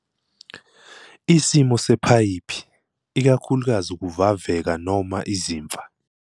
Isimo sephayiphi, ikakhulukazi ukuvaveka noma izimfa.